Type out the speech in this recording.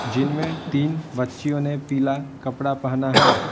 जिनमें तीन बच्चियों ने पीला कपड़ा पहना है।